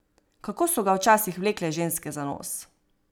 Kako so ga včasih vlekle ženske za nos.